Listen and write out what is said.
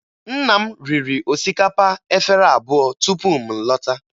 Nna m riri osikapa efere abụọ tupu m lọta